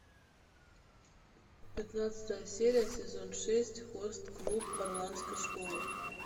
пятнадцатая серия сезон шесть хост клуб оранской школы